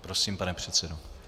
Prosím, pane předsedo.